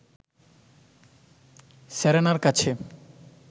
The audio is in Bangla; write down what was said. সেরেনার কাছে